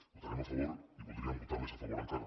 votarem a favor i voldríem votar més a favor encara